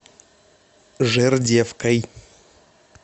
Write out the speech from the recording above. жердевкой